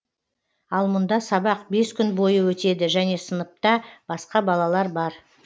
ал мұнда сабақ бес күн бойы өтеді және сыныпта басқа балалар бар